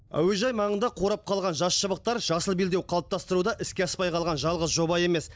әуежай маңында қурап қалған жас шыбықтар жасыл белдеу қалыптастыруда іске аспай қалған жалғыз жоба емес